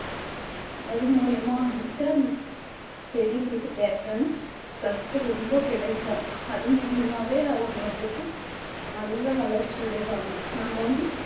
அது மூலியமா வந்துட்டு அந்த செடிங்களுக்குத் தேவையான சத்து ரொம்ப கிடைக்கும் அது மூலியமாவே அவங்க வந்துட்டு நல்ல வளர்ச்சி அடைவாங்க நம்ம வந்து